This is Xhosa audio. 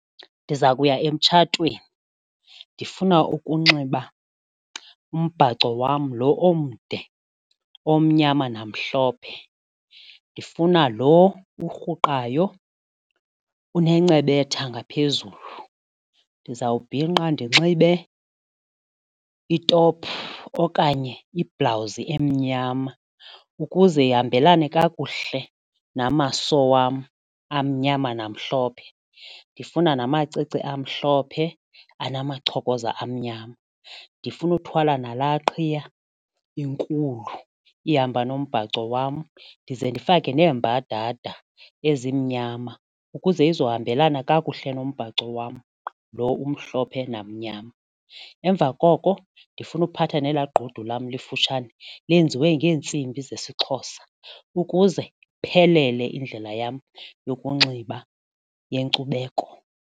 Ndiza kuya emtshatweni, ndifuna ukunxiba umbhaco wam loo omde omnyama namhlophe, ndifuna lo urhuqayo unencebetha ngaphezulu, ndizawubhinqa ndinxibe itophu okanye ibhulawuzi emnyama ukuze ihambelane kakuhle namaso wam amnyama namhlophe ndifuna namacici amhlophe enamachokoza amnyama, ndifuna uthwala nala qhiya inkulu ihamba nombhaco wam ndize ndifake neemmbadada ezimnyama ukuze ezohambelana kakuhle nombhaco wam lo umhlophe namnyama. Emva koko ndifuna uphatha nelaa gqudu lam lifutshane lenziwe ngeentsimbi zesiXhosa ukuze iphelele indlela yam yokunxiba yenkcubeko.